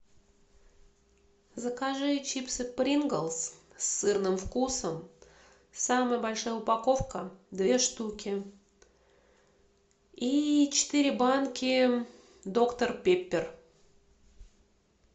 закажи чипсы принглс с сырным вкусом самая большая упаковка две штуки и четыре банки доктор пеппер